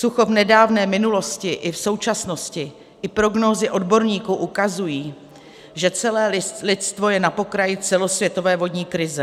Sucho v nedávné minulosti i v současnosti i prognózy odborníků ukazují, že celé lidstvo je na pokraji celosvětové vodní krize.